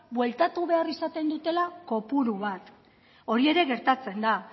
bueltatu behar izaten dutela kopuru bat hori ere gertatzen da